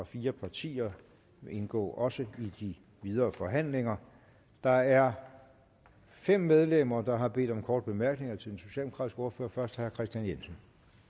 fire partier indgår også i de videre forhandlinger der er fem medlemmer der har bedt om korte bemærkninger til den socialdemokratiske ordfører først herre kristian jensen